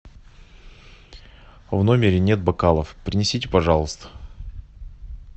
в номере нет бокалов принесите пожалуйста